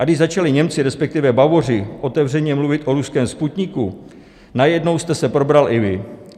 A když začali Němci, respektive Bavoři, otevřeně mluvit o ruském Sputniku, najednou jste se probral i vy.